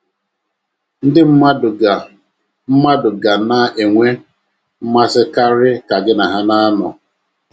Ndị mmadụ ga mmadụ ga na - enwe mmasị karị ka gị na ha na - anọ.